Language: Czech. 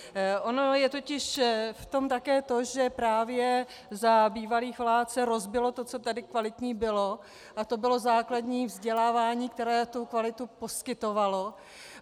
Ono je totiž v tom také to, že právě za bývalých vlád se rozbilo to, co tady kvalitní bylo, a to bylo základní vzdělávání, které tu kvalitu poskytovalo.